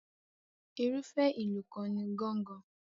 Irúfẹ́ ìlù kan ni gángan.